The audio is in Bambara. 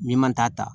Min man t'a ta